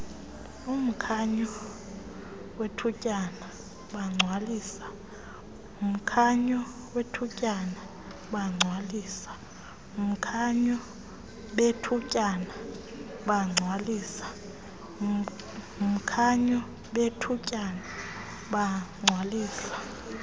mkhanyo bethutyana bagcwalisa